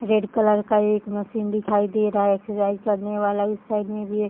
red colour का एक machine दिखाई दे रहा है एक सिलाई करने वाला इस साइड में भी --